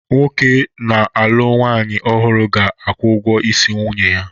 Nwoke na-alụ nwanyị ọhụrụ ga-akwụ ụgwọ isi nwunye ya